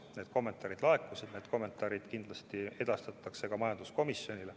Need kommentaarid laekusid ja need kindlasti edastatakse ka majanduskomisjonile.